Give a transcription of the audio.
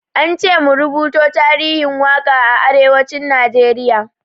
Ance mu rubuto tarihin waƙa a arewacin Najeriya.